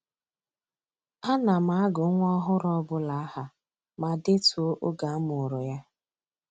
A na m agụ nwa ọhụrụ ọbụla aha ma detuo oge a mụrụ ya